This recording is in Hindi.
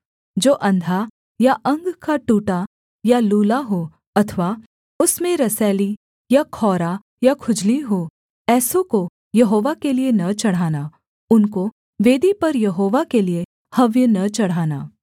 जो अंधा या अंग का टूटा या लूला हो अथवा उसमें रसौली या खौरा या खुजली हो ऐसों को यहोवा के लिये न चढ़ाना उनको वेदी पर यहोवा के लिये हव्य न चढ़ाना